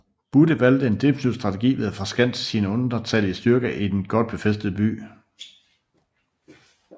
Budde valgte en defensiv strategi ved at forskanse sine undertallige styrker i den godt befæstede by